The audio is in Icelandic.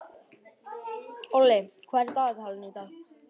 Olli, hvað er í dagatalinu í dag?